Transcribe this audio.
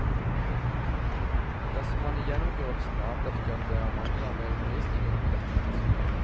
Dersom man i gjennomgåelsen avdekker at det er mangler ved undervisningen, må dette rettes opp.